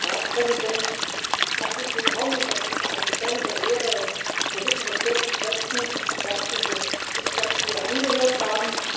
Herr Ratspräsident, herzlich willkommen! Das ist eine besondere Ehre, und wir wissen das sehr zu schätzen, dass Sie sich das hier angehört haben.